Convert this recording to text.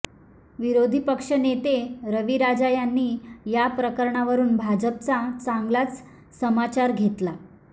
विरोधी पक्षनेते रवी राजा यांनी याप्रकरणावरुन भाजपचा चांगलाच समाचार घेतला